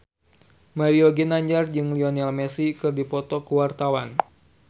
Mario Ginanjar jeung Lionel Messi keur dipoto ku wartawan